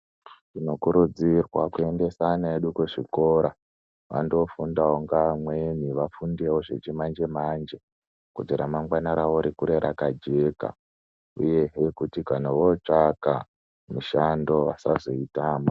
Tinokurudzirwa kuendesa ana edu kuzvikora andofundawo ngeamweni afundewo zvechimanjemanje kuti ramangwana rawo rikure rakajeka uyehe kuti kana votsvaka mishando vasazoitama.